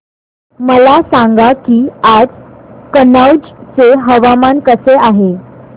मला सांगा की आज कनौज चे हवामान कसे आहे